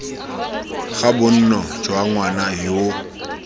ga bonno jwa ngwana yoo